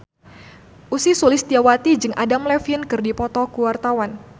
Ussy Sulistyawati jeung Adam Levine keur dipoto ku wartawan